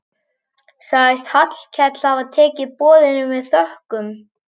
Sagðist Hallkell hafa tekið boðinu með þökkum.